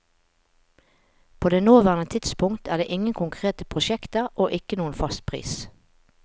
På det nåværende tidspunkt er det ingen konkrete prosjekter og ikke noen fast pris.